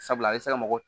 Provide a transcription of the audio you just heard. Sabula a bɛ se ka mɔgɔ